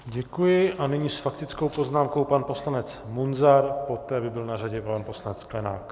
Děkuji a nyní s faktickou poznámkou pan poslanec Munzar, poté by byl na řadě pan poslanec Sklenák.